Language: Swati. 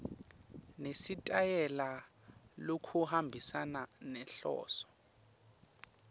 nesitayela lokuhambisana nenhloso